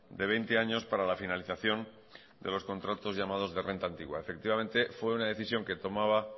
de veinte años para la finalización de los contratos llamados de renta antigua efectivamente fue una decisión que tomaba